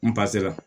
N